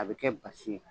A bɛ kɛ basi ye